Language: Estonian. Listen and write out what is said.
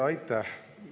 Aitäh!